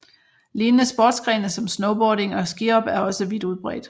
Lignende sportsgrene som snowboarding og skihop er også vidt udbredt